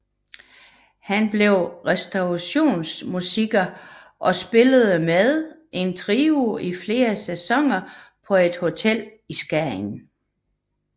Han blev restaurationsmusiker og spillede med en trio i flere sæsoner på et hotel i Skagen